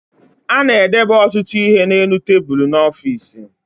A na-edebe ọtụtụ ihe n'elu tebulu n'ọfiisi